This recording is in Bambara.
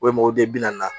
mɔgɔ de bi naani